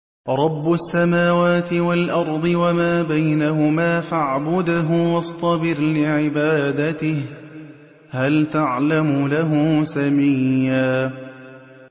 رَّبُّ السَّمَاوَاتِ وَالْأَرْضِ وَمَا بَيْنَهُمَا فَاعْبُدْهُ وَاصْطَبِرْ لِعِبَادَتِهِ ۚ هَلْ تَعْلَمُ لَهُ سَمِيًّا